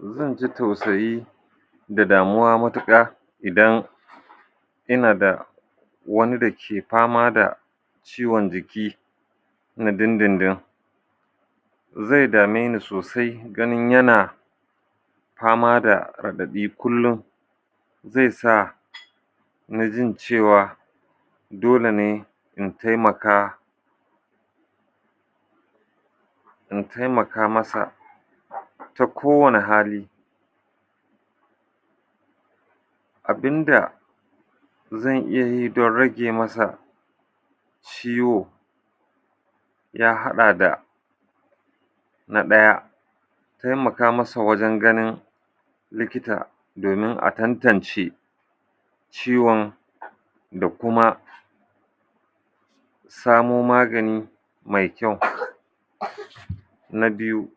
Zan ji tausayi da damuwa matuƙa idan ina da wani da ke fama da ciwon jiki na dindindin. Zai dame ni sosai ganin yana fama da raɗaɗi kullum, zai sa ni jin cewa dole ne in taimaka, in taimaka masa ta kowane hali. Abin da zan iya yi don rage masa ciwo ya haɗa da na ɗaya, taimaka masa wajen ganin likita domin a tantance ciwon da kuma samo magani mai kyau. Na biyu,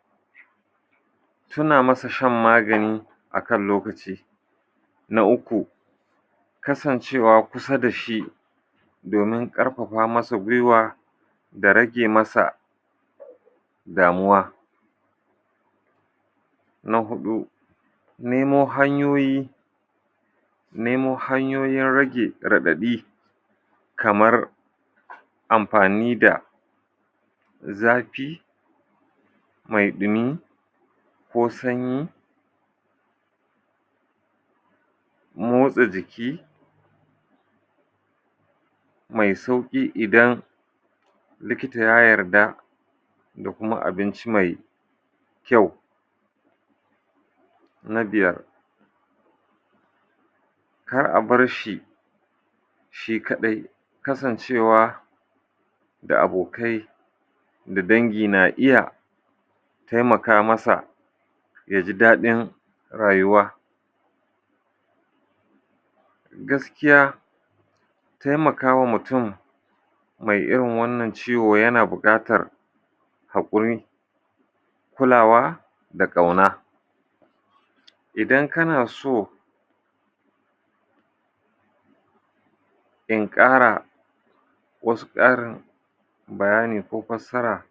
tuna masa shan magani a kan lokaci. Na uku, kasancewa kusa da shi domin ƙarfafa masa gwiwa da rage masa damuwa. Na huɗu, nemo hanyoyi, nemo hanyoyin rage raɗaɗi kamar amfani da zafi mai ɗumi ko sanyi, motsa jiki, mai sauƙi idan likita ya yarda da kuma abinci mai kyau. Na biyar, Kar a bar shi shi kaɗai. Kasancewa da abokai da dangi na iya taimaka masa ya ji daɗin rayuwa. Gaskiya, taimaka wa mutum mai irin wannan ciwo yana buƙatar haƙuri, kulawa da ƙauna. Idan kana so in ƙara wasu ƙarin bayani ko fassara